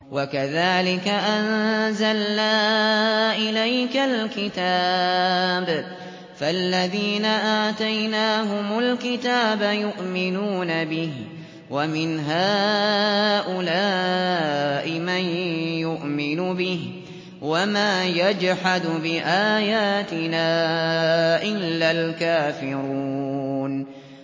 وَكَذَٰلِكَ أَنزَلْنَا إِلَيْكَ الْكِتَابَ ۚ فَالَّذِينَ آتَيْنَاهُمُ الْكِتَابَ يُؤْمِنُونَ بِهِ ۖ وَمِنْ هَٰؤُلَاءِ مَن يُؤْمِنُ بِهِ ۚ وَمَا يَجْحَدُ بِآيَاتِنَا إِلَّا الْكَافِرُونَ